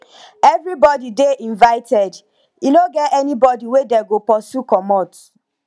everybody dey invited e no get anybody wey dey go pursue comot